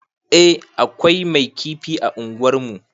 Eh akwai mai kifi a unguwar mu